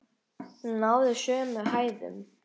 Hún náði sömu hæðum!